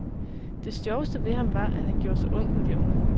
Det sjoveste ved ham var, at han gjorde sig ung med de unge.